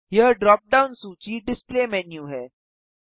यह drop down सूची display menu है